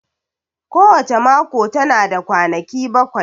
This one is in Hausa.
Ko wace mako tana da kwanaki bakwai